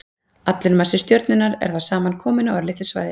Allur massi stjörnunnar er þá samankominn á örlitlu svæði.